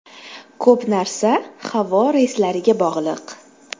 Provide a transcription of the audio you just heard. Ko‘p narsa havo reyslariga bog‘liq.